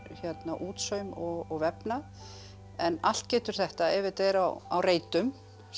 útsaum og vefnað en allt getur þetta ef þetta er á á reitum